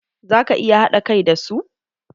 Za ka iya haɗa kai da su?